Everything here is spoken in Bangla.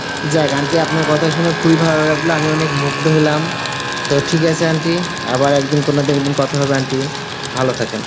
যা গানটি আপনার কথা শুনে খুব ভালো লাগলো aunty অনেক মুগ্ধ হলাম, তো ঠিক আছে aunty আবার একদিন কোনদিন কথা হবে aunty